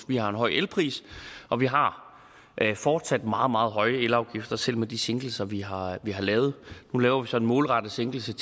vi har en høj elpris og vi har fortsat meget meget høje elafgifter selv med de sænkelser vi har lavet nu laver vi så en målrettet sænkelse